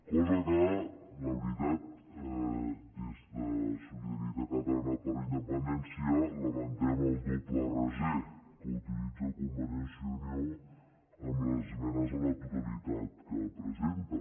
cosa que la veritat des de solidaritat catalana per la independència lamentem el doble raser que utilitza convergència i unió amb les esmenes a la totalitat que presenta